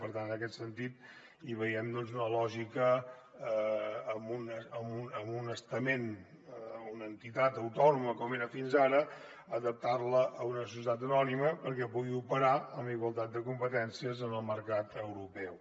per tant en aquest sentit hi veiem una lògica en un estament una entitat autònoma com era fins ara adaptarla a una societat anònima perquè pugui operar amb igualtat de competències en el mercat europeu